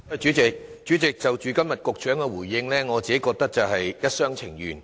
主席，局長今天的答覆，我覺得是一廂情願。